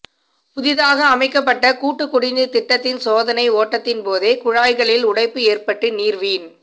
புதிதாக அமைக்கப்பட்ட கூட்டுக் குடிநீர் திட்டத்தின் சோதனை ஓட்டத்தின்போதே குழாய்களில் உடைப்பு ஏற்பட்டு நீர் வீண்